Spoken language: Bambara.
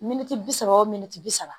Miniti bi saba o miniti bi saba